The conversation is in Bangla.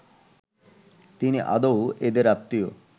তিনি আদৌ এদের আত্মীয়